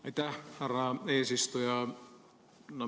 Aitäh, härra eesistuja!